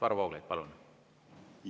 Varro Vooglaid, palun!